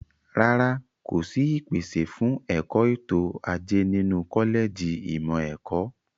Rárá, kò sí ìpèsè fún ẹ̀kọ́ ètò ajé nínú kọ́lẹ̀jì ìmọ̀ ẹ̀kọ́.